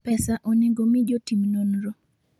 Pesa onego omi jotim nonro.